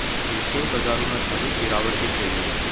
एशियाई बाजारों में भारी गिरावट दिख रही है